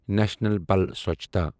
national بَل سۄچھتا